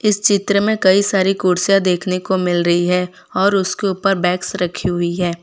इस चित्र में कई सारी कुर्सियां देखने को मिल रही है और उसके ऊपर बैग्स रखी हुई है।